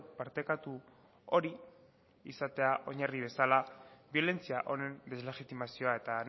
partekatu hori izatea oinarri bezala biolentzia honen deslegitimazioa eta